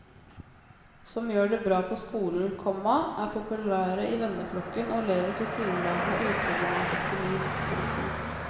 Som gjør det bra på skolen, komma er populære i venneflokken og lever tilsynelatende uproblematiske liv. punktum